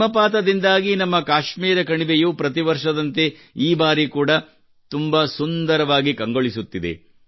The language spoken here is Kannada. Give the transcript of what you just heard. ಹಿಮಪಾತದಿಂದಾಗಿ ನಮ್ಮ ಕಾಶ್ಮೀರ ಕಣಿವೆಯು ಪ್ರತಿ ವರ್ಷದಂತೆ ಈ ಬಾರಿ ಕೂಡಾ ಬಹಳ ಸುಂದರವಾಗಿ ಕಂಗೊಳಿಸುತ್ತಿದೆ